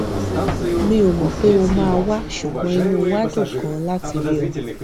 mi ò mò pé o máa wá ṣùgbọn inú wa dùn ganan láti rí ọ